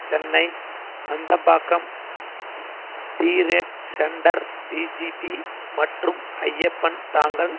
Chennai Nandambakkam trade centre VGP மற்றும் ஐயப்பன் தாங்கல்